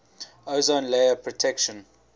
ozone layer protection